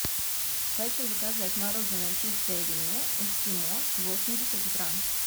хочу заказать мороженое чистая линия эскимо восемьдесят грамм